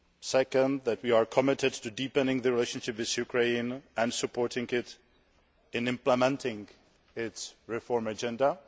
secondly, we are committed to deepening the relationship with Ukraine and supporting it in implementing its reform agenda